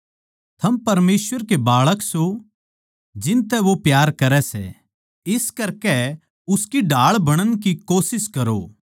थम परमेसवर के बच्चें सों जिसतै वो प्यार करै सै इस करकै उसकी ढाळ बणण की कोशिश करो